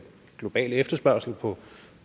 globale efterspørgsel på